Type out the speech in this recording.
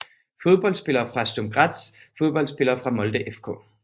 Fodboldspillere fra Sturm Graz Fodboldspillere fra Molde FK